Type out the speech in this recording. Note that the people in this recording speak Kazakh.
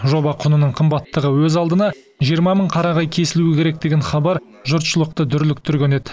жоба құнының қымбаттығы өз алдына жиырма мың қарағай кесілуі керек деген хабар жұртшылықты дүрліктірген еді